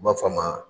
U b'a fɔ a ma